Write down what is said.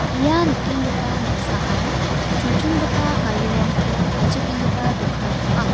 ia nikenggipa noksaan chonchongipa garirangko palchakengipa dokan ong·a.